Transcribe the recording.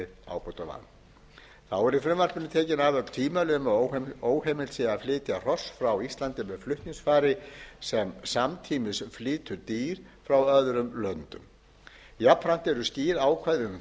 verið ábótavant þá eru í frumvarpinu tekin af öll tvímæli um að óheimilt sé að flytja hross frá íslandi með flutningsfari sem samtímis flytur dýr frá öðrum löndum jafnframt eru skýr ákvæði